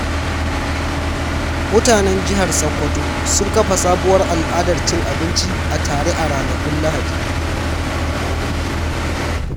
Mutanen jihar Sokoto sun kafa sabuwar al’adar cin abinci a tare a ranakun Lahadi.